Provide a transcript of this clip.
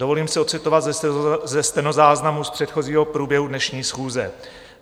Dovolím si odcitovat ze stenozáznamu z předchozího průběhu dnešní schůze.